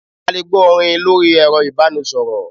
A lè gbọ́ orin lórí ẹ̀rọ ìbánisọ̀rọ̀.